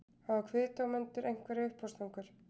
Hafa kviðdómendur einhverjar uppástungur?